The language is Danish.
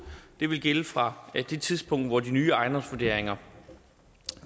det vil gælde fra det tidspunkt hvor de nye ejendomsvurderinger